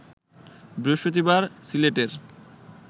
বৃহস্পতিবার সিলেটের